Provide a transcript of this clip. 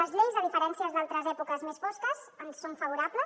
les lleis de diferències d’altres èpoques més fosques ens són favorables